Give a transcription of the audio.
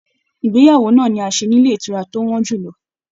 Ìgbéyàwó náà ni a ṣe nílé ìtura tó wọn jùlọ.